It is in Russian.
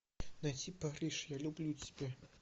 найти париж я люблю тебя